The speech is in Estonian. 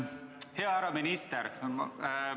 Hea härra minister!